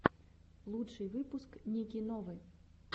лучший выпуск ники новы